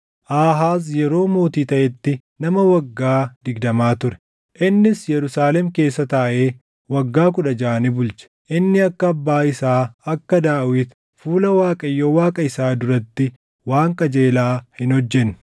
Aahaaz yeroo mootii taʼetti nama waggaa digdamaa ture; innis Yerusaalem keessa taaʼee waggaa kudha jaʼa ni bulche. Inni akka abbaa isaa akka Daawit fuula Waaqayyoo Waaqa isaa duratti waan qajeelaa hin hojjenne.